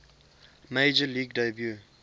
major league debut